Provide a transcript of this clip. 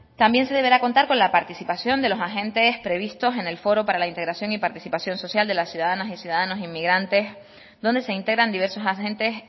también se deberá contar con la participación de los agentes previstos en el foro para la integración y participación social de las ciudadanas y ciudadanos inmigrantes donde se integran diversos agentes